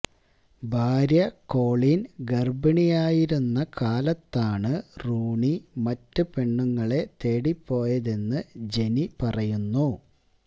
ഭാര്യ കോളീന് ഗര്ഭിണിയായിരുന്ന കാലത്താണ് റൂണി മറ്റു പെണ്ണുങ്ങളെ തേടിപ്പോയതെന്ന് ജെനി പറയുന്നു